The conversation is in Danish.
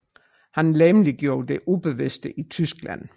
Han legemliggjorde det ubevidste i Tyskland